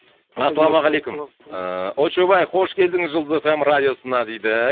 ассалаумағалейкум ыыы очоубай қош келдің жұлдыз эф эм радиосына дейді